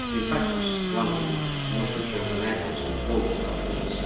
In fact it is one of the most important actors in both conflicts.